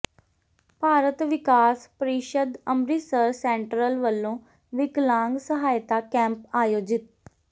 Bharat Vikas Parishad Amritsar central ਵਲੋਂ ਵਿਕਲਾਂਗ ਸਹਾਇਤਾ ਕੈਂਪ ਆਯੋਜਿਤ